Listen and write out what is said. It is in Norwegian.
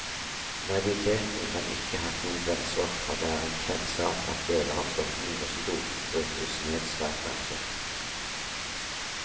Naiviteten kan ikke hatt noen grenser, for det er en kjent sak at deler av stoffene i russerdop brytes ned svært langsomt.